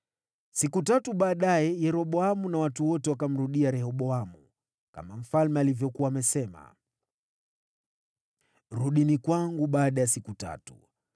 Siku tatu baadaye, Yeroboamu na watu wote wakamrudia Rehoboamu, kama mfalme alivyokuwa amesema, “Rudini kwangu baada ya siku tatu.”